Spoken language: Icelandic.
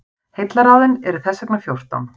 heillaráðin eru þess vegna fjórtán